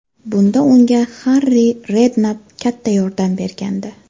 Bunda unga Harri Rednapp katta yordam bergandi.